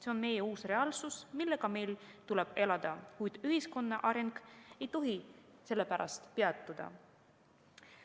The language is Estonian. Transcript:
See on meie uus reaalsus, millega meil tuleb elada, kuid ühiskonna areng ei tohi sellepärast peatuda.